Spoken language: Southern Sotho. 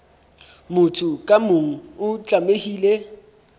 motho ka mong o tlamehile